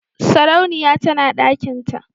sarauniya tana dakinta.